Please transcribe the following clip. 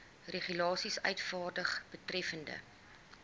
regulasies uitvaardig betreffende